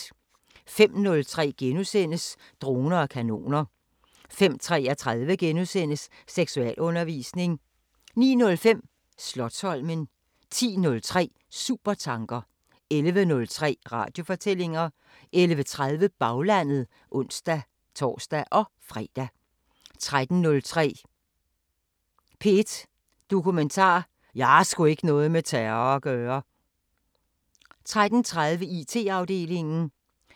05:03: Droner og kanoner * 05:33: Seksualundervisning * 09:05: Slotsholmen 10:03: Supertanker 11:03: Radiofortællinger 11:30: Baglandet (tor-fre) 13:03: P1 Dokumentar: 'Jeg har sgu ikke noget med terror at gøre' 13:30: IT-afdelingen